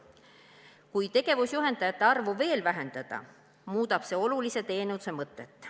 Kui tegevusjuhendajate arvu veel vähendada, muudab see olulise teenuse mõtet.